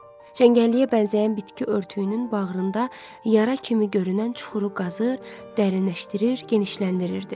Çəngəlliyə bənzəyən bitki örtüyünün bağrında yara kimi görünən çuxuru qazır, dərinləşdirir, genişləndirirdi.